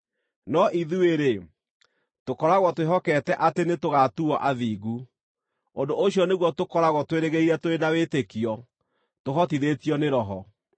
No ithuĩ-rĩ, tũkoragwo twĩhokete atĩ nĩtũgatuuo athingu. Ũndũ ũcio nĩguo tũkoragwo twĩrĩgĩrĩire tũrĩ na wĩtĩkio, tũhotithĩtio nĩ Roho.